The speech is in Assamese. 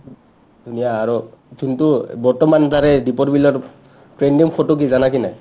ধুনীয়া আৰু যোনটো বৰ্তমান তাৰে দিপৰ বিলৰ trending photo কি জানা কি নাই ?